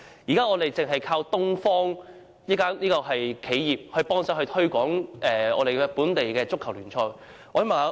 現時，我們單靠東方報業幫忙推廣本地的足球聯賽。